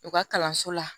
U ka kalanso la